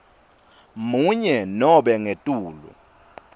munye nobe ngetulu